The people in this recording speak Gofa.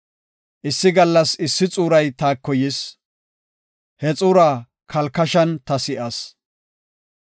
“Issi gallas issi xuuray taako yis; he xuura kalkashan ta si7as.